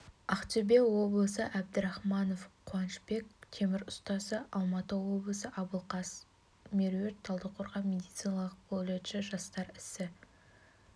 ақтөбе облысы әбдрахманов қуанышбек темір ұстасы алматы облысы абылқас меруерт талдықорған медициналық колледжі жастар ісі